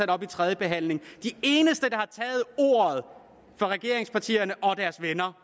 det op ved tredjebehandlingen de eneste fra regeringspartierne og deres venner